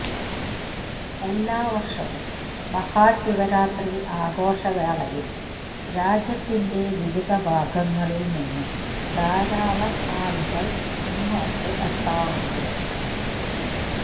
എല്ലാ വര്ഷവും മഹാ ശിവരാത്രി ആഘോഷവേളയില് രാജ്യത്തിന്റെ വിവിധ ഭാഗങ്ങളില് നിന്ന് ധാരാളം ആളുകള് ഇങ്ങോട്ട് എത്താറുണ്ട്